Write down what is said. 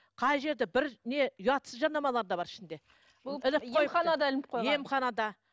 қай жерде бір не ұятсыз жарнамалар да бар ішінде емханада